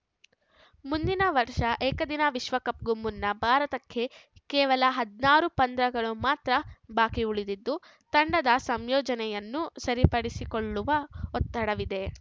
ಮುಂದಿನ ವರ್ಷ ಏಕದಿನ ವಿಶ್ವಕಪ್‌ಗೂ ಮುನ್ನ ಭಾರತಕ್ಕೆ ಕೇವಲ ಹದಿನಾರು ಪಂದ್ಯಗಳು ಮಾತ್ರ ಬಾಕಿ ಉಳಿದಿದ್ದು ತಂಡದ ಸಂಯೋಜನೆಯನ್ನು ಸರಿಪಡಿಸಿಕೊಳ್ಳುವ ಒತ್ತಡವಿದೆ